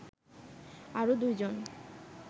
আরো দুই জন